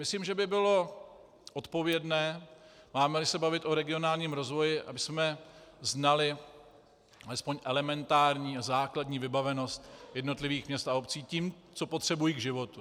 Myslím, že by bylo odpovědné, máme-li se bavit o regionálním rozvoji, abychom znali alespoň elementární a základní vybavenost jednotlivých měst a obcí tím, co potřebují k životu.